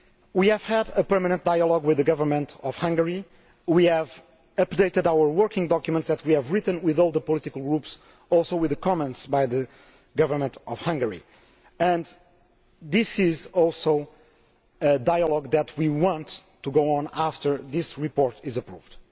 We have had a permanent dialogue with the Government of Hungary. We have updated the working documents that we have written with all the political groups, also with comments by the Government of Hungary, and this is also a dialogue that we want to continue after this report is approved.